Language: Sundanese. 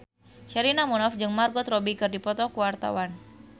Sherina Munaf jeung Margot Robbie keur dipoto ku wartawan